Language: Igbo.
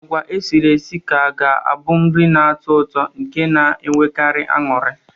Agwa esiri esi ka ga-abụ nri na-atọ ụtọ nke a na-enwekarị anụrị.